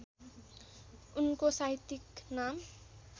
उनको साहित्यिक नाम